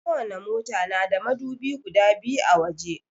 Ko wani mota na da madubi guda biyu a waje